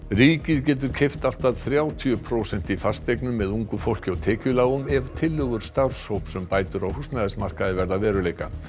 ríkið getur keypt allt að þrjátíu prósent í fasteignum með ungu fólki og tekjulágum ef tillögur starfshóps um bætur á húsnæðismarkaði verða að veruleika